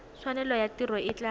tshwanelo ya tiro e tla